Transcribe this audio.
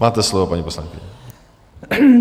Máte slovo, paní poslankyně.